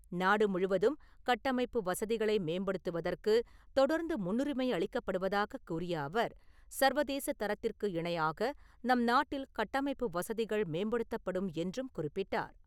நாடு முழுவதும் கட்டமைப்பு வசதிகளை மேம்படுத்துவதற்கு தொடர்ந்து முன்னுரிமை அளிக்கப்படுவதாக கூறிய அவர், சர்வதேசதரத்திற்கு இணையாக நம் நாட்டில் கட்டமைப்பு வசதிகள் மேம்படுத்தப்படும் என்றும் குறிப்பிட்டார்.